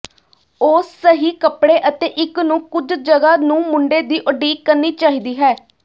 ਉਹ ਸਹੀ ਕੱਪੜੇ ਅਤੇ ਇੱਕ ਨੂੰ ਕੁਝ ਜਗ੍ਹਾ ਨੂੰ ਮੁੰਡੇ ਦੀ ਉਡੀਕ ਕਰਨੀ ਚਾਹੀਦੀ ਹੈ